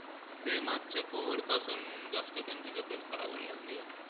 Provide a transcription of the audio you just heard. ते मागच्या COVID पासून, त्यांची तब्येत खराब व्हायला लागली आहे.